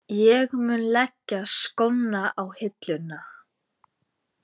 Ég mun leggja skóna á hilluna.